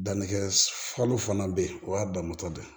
Dannikɛ falu fana be yen o y'a danmatɔ de ye